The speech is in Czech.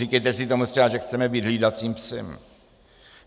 Říkejte si tomu třeba, že chceme být hlídacím psem.